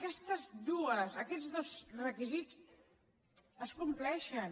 aquestes dues aquests dos requisits es compleixen